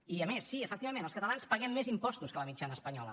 i a més sí efectivament els catalans paguem més impostos que la mitjana espanyola